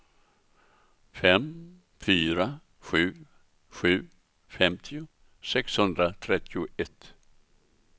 fem fyra sju sju femtio sexhundratrettioett